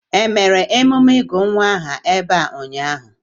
Emere emume ịgụ nwa aha ebe a ụnyaahụ?